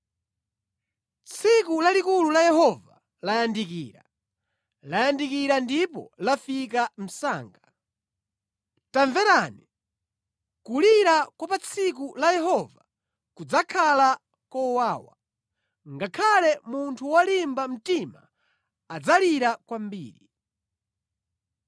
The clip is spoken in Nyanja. Tsiku lalikulu la Yehova layandikira, layandikira ndipo lifika msanga. Tamverani! Kulira kwa pa tsiku la Yehova kudzakhala kowawa, ngakhale munthu wolimba mtima adzalira kwambiri.